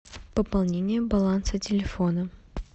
пополнение баланса телефона